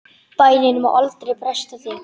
Bænin má aldrei bresta þig!